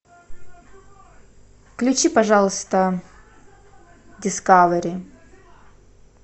включи пожалуйста дискавери